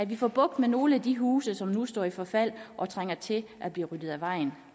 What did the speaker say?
vi får bugt med nogle af de huse som nu står i forfald og trænger til at blive ryddet af vejen